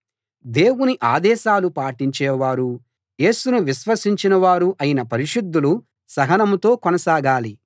దేవుని ఆదేశాలు పాటించేవారూ యేసును విశ్వసించిన వారూ అయిన పరిశుద్ధులు సహనంతో కొనసాగాలి